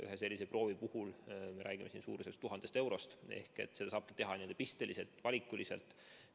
Ühe sellise proovi puhul me räägime suurusjärgus 1000 eurost, ehk seda saabki teha vaid pisteliselt, valikuliselt.